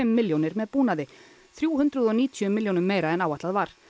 milljónir með búnaði þrjú hundruð og níutíu milljónum meira en áætlað var